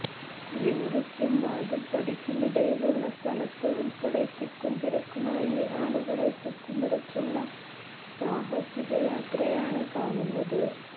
കുളിമുറിക്കും വാതില്പ്പടിക്കുമിടയിലുള്ള സ്ഥലത്ത് ഉള്പ്പെടെ തിക്കും തിരക്കുമായും ആളുകളെ കുത്തിനിറച്ചുള്ള സാഹസിക യാത്രയാണ് കാണുന്നത്